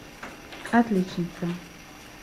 отличница